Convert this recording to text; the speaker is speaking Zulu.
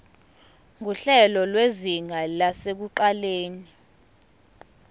nguhlelo lwezinga lasekuqaleni